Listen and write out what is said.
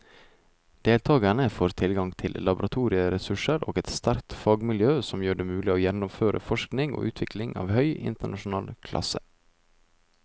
Deltakerne får tilgang til laboratorieressurser og et sterkt fagmiljø som gjør det mulig å gjennomføre forskning og utvikling av høy internasjonal klasse.